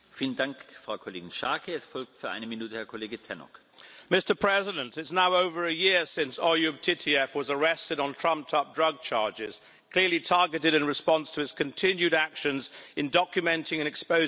Mr President, it is now over a year since Oyub Titiev was arrested on trumped-up drug charges, clearly targeted in response to his continued actions in documenting and exposing human rights abuses in Chechnya.